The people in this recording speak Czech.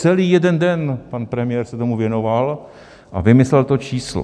Celý jeden den pan premiér se tomu věnoval a vymyslel to číslo.